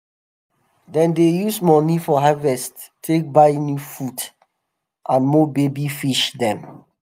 dem dey use moni from harvest take buy new food and more baby fish dem.